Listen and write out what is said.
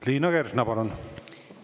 Liina Kersna, palun!